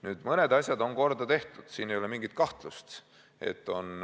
Nüüd, mõned asjad on ka korda tehtud, siin ei ole mingit kahtlust.